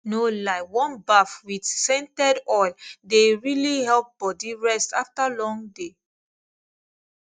no lie warm baff with scented oil dey really help body rest after long day